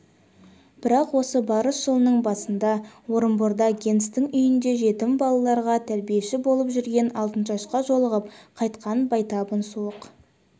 бірақ осы барыс жылының басында орынборда генстің үйінде жетім балаларға тәрбиеші болып жүрген алтыншашқа жолығып қайтқан байтабын суық